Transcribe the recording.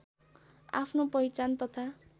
आफ्नो पहिचान तथा